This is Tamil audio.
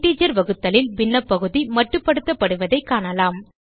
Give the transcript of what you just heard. இன்டிஜர் வகுத்தலில் பின்னப் பகுதி மட்டுப்படுத்தப்படுவதைக் காணலாம்